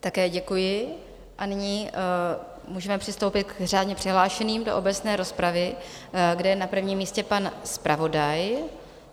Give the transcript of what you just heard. Také děkuji a nyní můžeme přistoupit k řádně přihlášeným do obecné rozpravy, kde je na prvním místě pan zpravodaj.